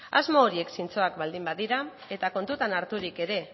asmo horiek zintzoak baldin badira eta kontutan harturik ere